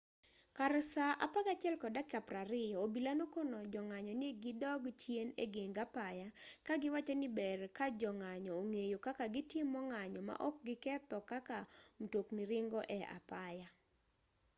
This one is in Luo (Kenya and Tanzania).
kar saa 11:20 obila nokono jong'anyo ni gidog chien egeng apaya kagiwacho ni ber kajong'anyo ong'eyo kaka gitimo ng'anyo maok giketho kaka mtokni ringo e apaya